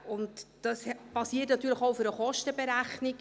Dies basiert natürlich auch auf einer Kostenberechnung.